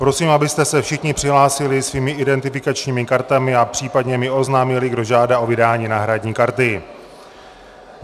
Prosím, abyste se všichni přihlásili svými identifikačními kartami a případně mi oznámili, kdo žádá o vydání náhradní karty.